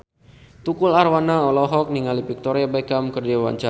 Tukul Arwana olohok ningali Victoria Beckham keur diwawancara